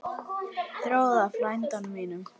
Þórði frænda mínum!